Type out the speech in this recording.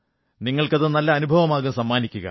നിങ്ങൾക്കത് നല്ല അനുഭവമാകും സമ്മാനിക്കുക